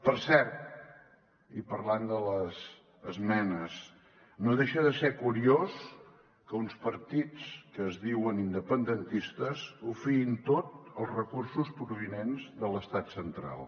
per cert i parlant de les esmenes no deixa de ser curiós que uns partits que es diuen independentistes o fiïn tot als recursos provinents de l’estat central